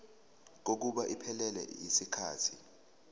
kokuba iphelele yisikhathi